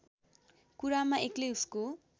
कुरामा एक्लै उसको